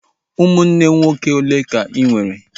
Ụmụnne nwoke olee ka ị nwere?